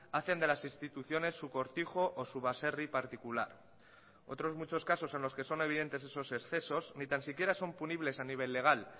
hacen de las instituciones su cortijo o su baserri particular otros muchos casos en los que son evidentes esos excesos ni tan siquiera son punibles a nivel legal